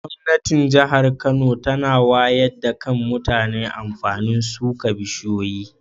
Gwamnatin jahar Kano tana wayar da Kan mutane amfanin suka bishiyoyi.